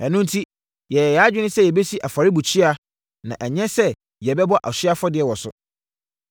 “Ɛno enti yɛyɛɛ yɛn adwene sɛ yɛbɛsi afɔrebukyia, na ɛnyɛ sɛ yɛbɛbɔ ɔhyeɛ afɔdeɛ wɔ so,